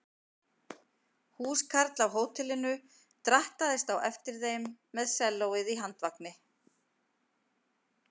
Húskarl af hótelinu drattaðist á eftir þeim með sellóið á handvagni.